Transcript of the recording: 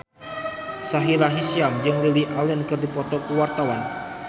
Sahila Hisyam jeung Lily Allen keur dipoto ku wartawan